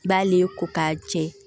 I b'ale ko k'a jɛ